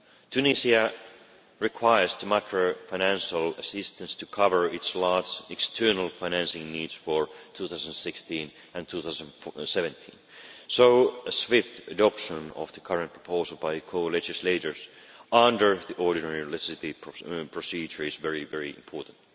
Tunisia requires the micro financial assistance to cover its large external financing needs for 2016 and 2017, so a swift adoption of the current proposal by co legislators, under the ordinary legislative procedure is very important.